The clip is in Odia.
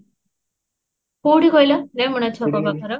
କୋଉଠି କହିଲ ରେମଣା ଛକ ପାଖର?